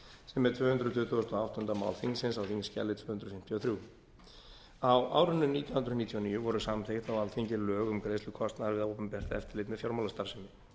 sem er tvö hundruð tuttugustu og áttunda mál þingsins á þingskjali tvö hundruð fimmtíu og þrjú á árinu nítján hundruð níutíu og níu voru samþykkt á alþingi lög um greiðslu kostnaðar við opinbert eftirlit með fjármálastarfsemi